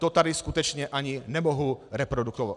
To tady skutečně ani nemohu reprodukovat.